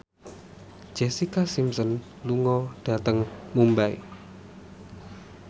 Jessica Simpson lunga dhateng Mumbai